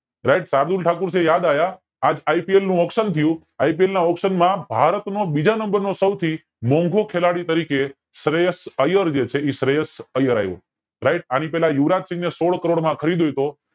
સાયબ ઠાકુર થી યાદ આવ્યું આજ IPL નું auction IPL ના auction માં ભારત નો બીજા NUMBER નો સૌથી મોંઘો ખેલાડી તરીકે શ્રેયસ અયર જે છે શ્રેયસ અયર આયો RIGHT આની પેલા યિંયુવરાજસિંહ ને સોળ કરોડ માં ખરીદ્યો તો